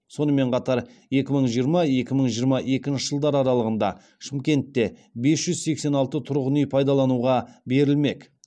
сонымен қатар екі мың жиырма екі мың жиырма екінші жылдар аралығында шымкентте бес жүз сексен алты тұрғын үй пайдалануға берілмек